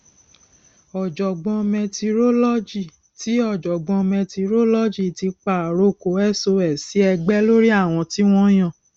ọjọgbọn mẹtirolọgì ti ọjọgbọn mẹtirolọgì ti pa àrokò sos sí ẹgbẹ lórí àwọn tí wọn yàn